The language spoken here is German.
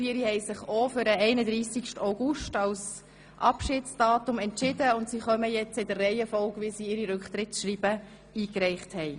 Sie haben sich auch für den 31. August als Austrittsdatum entschieden, und ich verabschiede sie in der Reihenfolge, wie sie ihre Rücktrittsschreiben eingereicht haben.